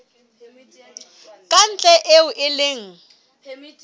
ka ntle eo e leng